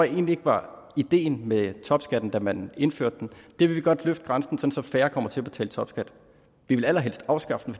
egentlig ikke var ideen med topskatten da man indførte den vil vi godt løfte grænsen så færre kommer til at betale topskat vi ville allerhelst afskaffe den